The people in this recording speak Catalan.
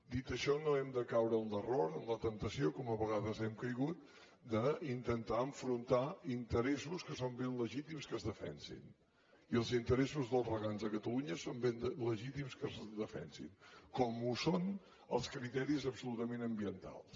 dit això no hem de caure en l’error en la temptació com a vegades hem caigut d’intentar enfrontar interessos que són ben legítims que es defensin i els interessos dels regants de catalunya són ben legítims que es defensin com ho són els criteris absolutament ambientals